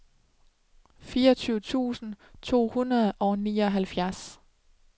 fireogtyve tusind to hundrede og nioghalvfjerds